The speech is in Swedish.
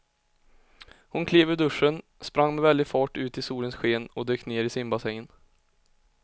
Hon klev ur duschen, sprang med väldig fart ut i solens sken och dök ner i simbassängen.